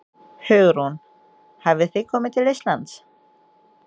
Hugrún: Hafið þið komi til Íslands?